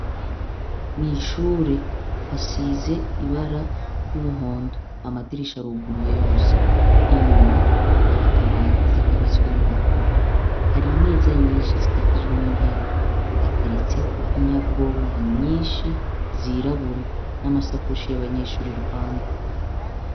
Mwishure hasiz' ibara ry' umuhondo, amadirish' aruguruye yose, inyuma har' akabati kabitsemw impapuro, har' imeza nyinshi zikikujwe n'intebe hateretsek' inyabwonko nyinshi zirabura nama sakoshi y' abanyeshur' iruhande.